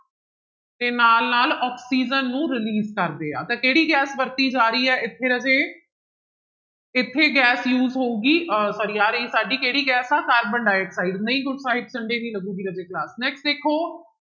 ਤੇ ਨਾਲ ਨਾਲ ਆਕਸੀਜਨ ਨੂੰ release ਕਰਦੇ ਆ, ਤਾਂ ਕਿਹੜੀ ਗੈਸ ਵਰਤੀ ਜਾ ਰਹੀ ਹੈ ਇੱਥੇ ਰਾਜੇ ਇੱਥੇ ਗੈਸ use ਹੋਊਗੀ ਅਹ sorry ਆ ਰਹੀ ਸਾਡੀ ਕਿਹੜੀ ਗੈਸ ਆ ਕਾਰਬਨ ਡਾਇਆਕਸਾਇਡ ਨਹੀਂ sunday ਨਹੀਂ ਲੱਗੇਗੀ ਰਾਜੇ class next ਦੇਖੋ